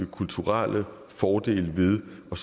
kulturelle fordele ved at